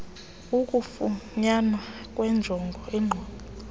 ukufunyanwa kwenjongo inqobo